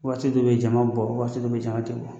Waati dɔ bɛ jama bɛ bɔ waati dɔ bɛ jama tɛ bɔ